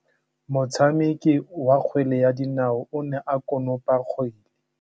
Motshameki wa kgwele ya dinaô o ne a konopa kgwele.